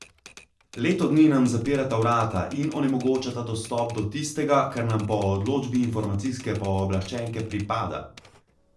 Leto dni nam zapirata vrata in onemogočata dostop do tistega, kar nam po odločbi informacijske pooblaščenke pripada.